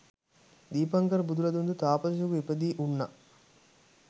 දීපංකර බුදුරදුන් ද තාපසයෙකුව ඉපදී උන්නා.